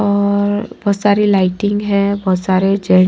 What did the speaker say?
और बहुत सारी लाइटिंग है बहुत सारे --